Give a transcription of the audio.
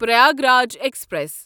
Prayagraj express